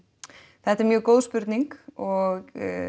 þetta er mjög góð spurning og